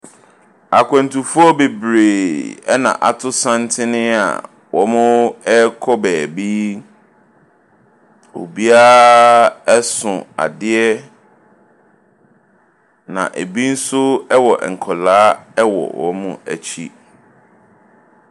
Akwantufoɔ bebree na wɔato santene a wɔrekɔ baabi yi. Obiara so adeɛ, na ebi nso wɔ nkwadaa wɔ wɔn akyi.